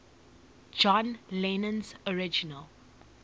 john lennon's original